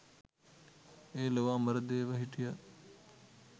එය ලොව අමරදේව හිටියත්